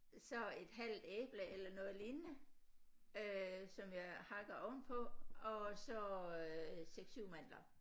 Så et halvt æble eller noget lignende øh som jeg hakker ovenpå og så øh 6 7 mandler